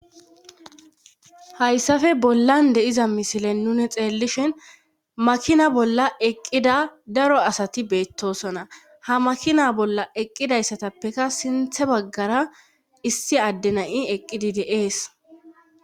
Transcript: Hayssafe bollan de7iza misilen nune xeellishin makina bolla eqqida daro asati beettosona ha makina bolla eqqidayssatappeka sinthe baggara issi addenayi eqqidi deees